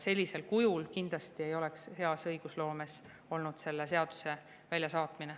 Sellisel kujul selle eelnõu väljasaatmine kindlasti ei oleks olnud hea õigusloome.